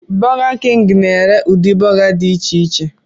Burger king na-ere udiri buga dị icheiche